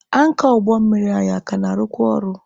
Ankọ ụgbọ anyị a ka na-arụkwa ọrụ?